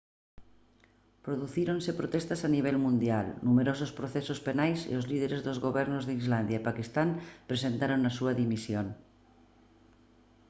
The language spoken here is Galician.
producíronse protestas a nivel mundial numerosos procesos penais e os líderes dos gobernos de islandia e paquistán presentaron a súa dimisión